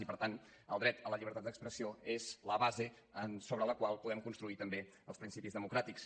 i per tant el dret a la llibertat d’expressió és la base sobre la qual podem construir també els principis democràtics